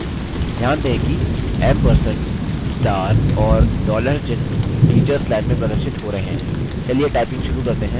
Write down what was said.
ध्यान दें कि &* और $चिह्न teachers line में प्रदर्शित हो रहे हैं चलिए typing शुरू करते हैं